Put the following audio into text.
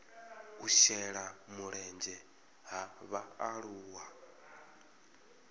u shela mulenzhe ha vhaaluwa